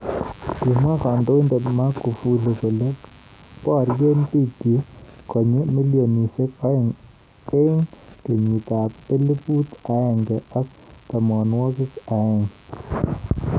Kimwa kandoinet Magufuli kole borye bik chik konyi milionishek aeng eng kenyit elibu aeng ak tamnawakik aeng.